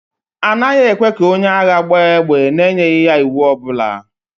A naghị ekwe ka onye agha gbaa égbè n'enyeghị ya iwu ọ bụla